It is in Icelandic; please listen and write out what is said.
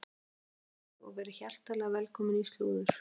Gleðilegan sunnudag og verið hjartanlega velkomin í slúður.